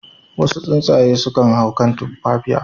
Wasu tsuntsaye sunan hau kan tumfatiya.